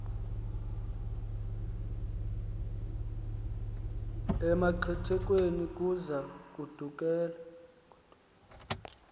emaxethukeni kuza kwandulela